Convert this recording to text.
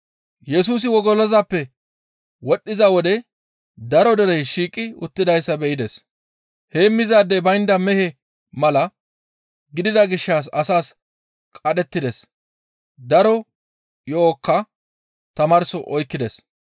Yesusi wogolozappe wodhdhiza wode daro derey shiiqi uttidayssa be7ides. Heemmizaadey baynda mehe mala gidida gishshas asaas qadhettides; daro yo7okka tamaarso oykkides.